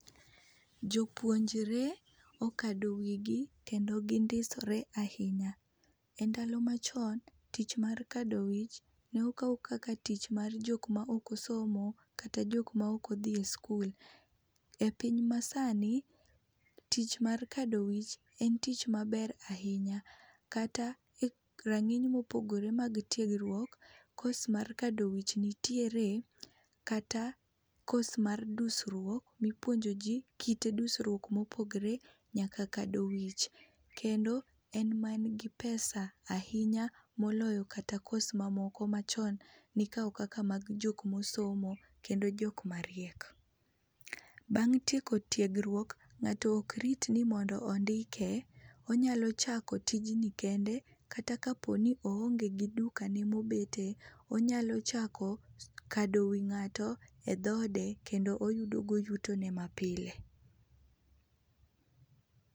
Jopuonjre okado wigi kendo gindisre ahinya. Endalo machon, tich mar kadowich nokaw kaka tich mar jok maok osomo kata jok maok odhi e sikul. Epiny masani, tich mar kado wich en tich maber ahinya. Kata e rang'iny mopogore mag tiegruok, kos mag kadowich nitiere kata kos mar dusruok mipuonjoji kit dusruok mopogre nyaka kado wich kendo en man gi pesa ahinya moloyo kata kos mamoko machon nikawo kaka mag jok mosomo kendo jok mariek. Bang' tieko tiegruok, ng'ato ok rit mondo ondike, onyalo chako tijni kende, kata kaponi oonge gi dukane mobete, onyalo chako kado wii ng'ato edhoode kendo oyudogo yutone mapile.